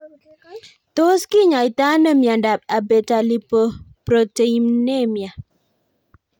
Tios kinyaitoi ano miondop Abetalipoproteinemia